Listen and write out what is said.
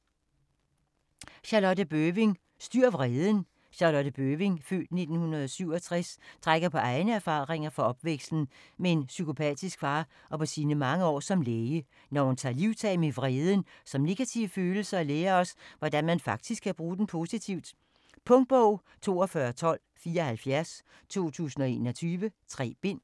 Bøving, Charlotte: Styr vreden Charlotte Bøving (f. 1967) trækker på egne erfaringer fra opvæksten med en psykopatisk far og på sine mange år som læge, når hun tager livtag med vreden som negativ følelse og lærer os, hvordan man faktisk kan bruge den positivt. Punktbog 421274 2021. 3 bind.